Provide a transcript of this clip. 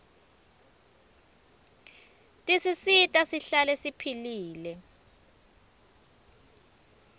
tisisita sihlale siphilile